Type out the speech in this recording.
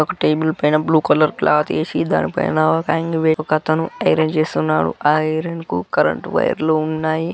ఒక టేబల్ పైన blue colour cloth ఎసి దానిపైన ఒకతను ఐరన్ చేస్తునారు. ఆ ఐరన్ కు కరెంట్ వైర్ లు ఉన్నాయి.